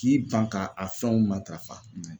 K'i ban ka a fɛnw matarafa